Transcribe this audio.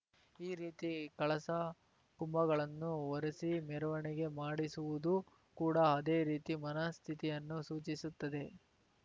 ಈ ರೀತಿ ಕಳಸ ಕುಂಭಗಳನ್ನು ಹೊರಸಿ ಮೆರವಣಿಗೆ ಮಾಡಿಸುವುದೂ ಕೂಡ ಅದೇ ರೀತಿ ಮನಸ್ಥಿತಿಯನ್ನು ಸೂಚಿಸುತ್ತದೆ